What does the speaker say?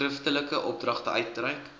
skriftelike opdragte uitreik